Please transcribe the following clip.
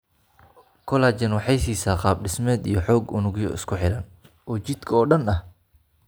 Collagen waxay siisaa qaab dhismeed iyo xoog unugyo isku xidhan oo jidhka oo dhan ah.